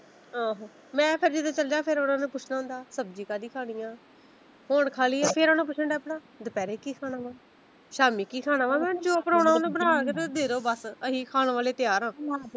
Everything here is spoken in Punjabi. ਆਹੋ ਮੈਂ ਤਾਂ ਜਦੋਂ ਚਲਜਾਂ ਫਿਰ ਓਹਨਾ ਨੇ ਪੁੱਛਣਾ ਹੁੰਦਾ ਸਬਜੀ ਕਿਹੜੀ ਖਾਣੀ ਆ ਹੁਣ ਖਾਲੀ ਫਿਰ ਓਹਨਾ ਪੁੱਛਣ ਡੈ ਪੈਣਾ ਦੁਪਹਿਰੇ ਕੀ ਖਾਣਾ ਵਾ ਸ਼ਾਮੀ ਕੀ ਖਾਣਾ ਵਾ ਮੈਂ ਕਿਹਾ ਜੋ ਬਣਾਉਣਾ ਹੁੰਦਾ ਬਣਾ ਕੇ ਦੇ ਦੋ ਬੱਸ ਅਸੀਂ ਖਾਣ ਵਾਲੇ ਤਿਆਰ ਆ।